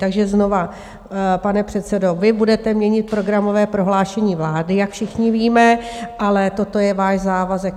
Takže znovu, pane předsedo, vy budete měnit programové prohlášení vlády, jak všichni víme, ale toto je váš závazek.